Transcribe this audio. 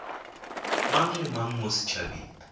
mang le mang mo setšhabeng